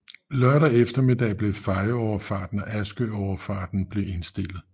Lørdag eftermiddag blev Fejø Overfarten og Askø Overfarten blev indstillet